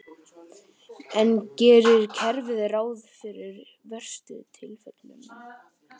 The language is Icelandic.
En gerir kerfið ráð fyrir verstu tilfellunum?